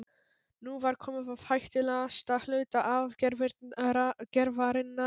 Nú var komið að hættulegasta hluta aðgerðarinnar.